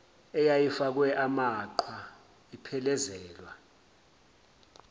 eyayifakwe amaqhwa iphelezelwa